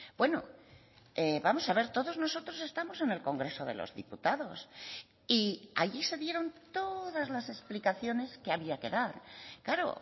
bueno vamos a ver todos nosotros estamos en el congreso de los diputados y allí se dieron todas las explicaciones que había que dar claro